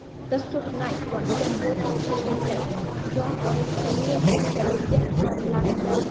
Dastur Nayt va Stenfordning prezidenti Jon Xennessi sharafiga nomlanadi.